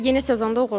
Yeni sezonda uğurlar.